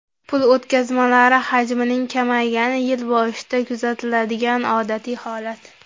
Pul o‘tkazmalari hajmining kamaygani yil boshida kuzatiladigan odatiy holat.